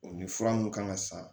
O ni fura mun kan ka san